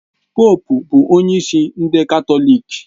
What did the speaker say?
Poópu bụ onye isi ndị Katọlik